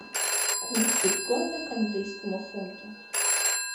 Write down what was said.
курс биткойна к английскому фунту